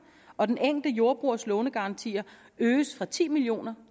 og den enkelte jordbrugers lånegaranti øges fra ti million